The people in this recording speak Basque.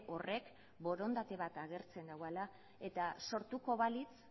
horrek borondate bat agertzen duela eta sortuko balitz